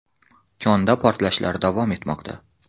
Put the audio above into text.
Konda portlashlar davom etmoqda.